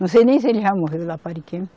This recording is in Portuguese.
Não sei nem se ele já morreu lá para Ariquemes.